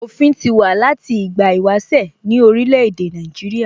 Òfin ti wà láti ìgbà ìwáṣẹ̀ ní orílè èdè Nàìjíríà